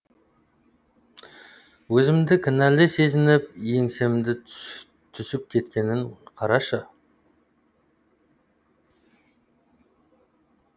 өзімді кінәлі сезініп еңсемнің түсіп кеткенін қарашы